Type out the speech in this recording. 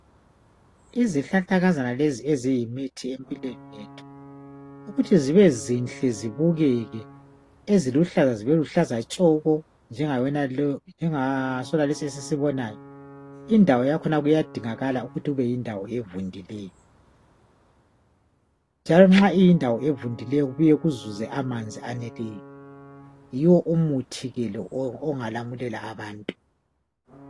izihlahlakazana lezi eziyimithi empilweni yethu ukuthi zibe zinhle zibukeke eziluhlaza zibeluhlaza tshoko njengasonalesi esisibonayo indawo yakhona kuyadingakala ukuthi kube yindawo evundileyo njalo nxa kuyindawo evundileyo kubuye kuzuze amanzi aneleyo yiwo umuthi ke lo ongalamulela abantu